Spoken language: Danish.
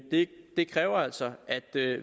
det kræver altså at vi